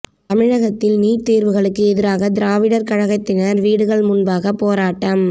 தமிழகத்தில் நீட் தேர்வுகளுக்கு எதிராக திராவிடர் கழகத்தினர் வீடுகள் முன்பாக போராட்டம்